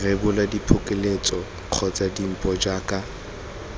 rebola diphokoletso kgotsa dimpho jaaka